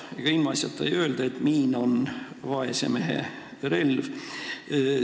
Ega ilmaasjata ei öelda, et miin on vaese mehe relv.